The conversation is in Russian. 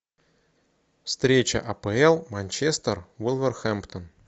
встреча апл манчестер вулверхэмптон